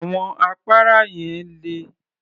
Àwọn àpárá yẹn le